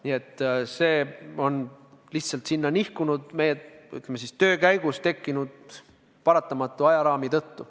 Nii et see on lihtsalt sinna nihkunud, ütleme, töö käigus tekkinud paratamatu ajaraami tõttu.